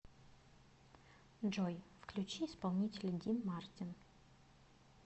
джой включи исполнителя дин мартин